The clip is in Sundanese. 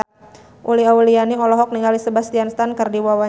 Uli Auliani olohok ningali Sebastian Stan keur diwawancara